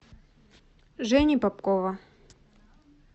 жени попкова